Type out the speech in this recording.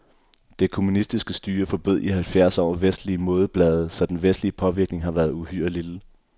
Det kommunistiske styre forbød i halvfjerds år vestelige modeblade, så den vestlige påvirkning har været uhyre lille.